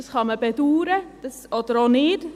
Das kann man bedauern oder auch nicht.